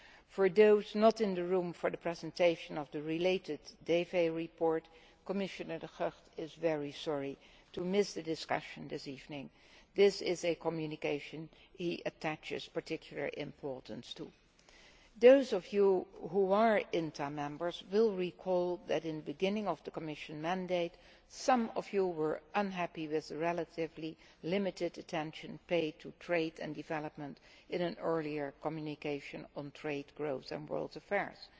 For those who were not in the room for the related presentation by the Committee on Development Commissioner De Gucht has said he is very sorry to miss the discussion this evening as this is a communication he attaches particular importance to. Those of you who are INTA members will recall that, at the beginning of the Commission's mandate, some of you were unhappy with the relatively limited attention paid to trade and development in an earlier communication on trade, growth and world affairs.